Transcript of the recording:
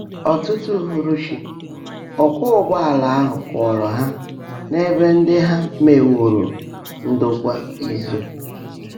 Ọ́tụ́tụ́ úhùrúchị́, ọ́kwọ́ ụ́gbọ́áàlà áhụ́ kwọ́ọ́ró Há n’ébè ndị́ há meèwóró ndòkwá ízó.